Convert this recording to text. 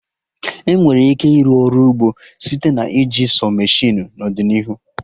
Emere ike ịrụ Ọrụ ugbo site na iji sọ meshịnụ n'ọdịnihu